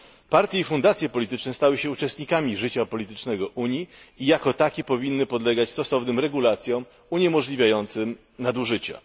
Partie i fundacje polityczne stały się uczestnikami życia politycznego Unii i jako takie powinny podlegać stosownym regulacjom uniemożliwiającym nadużycia.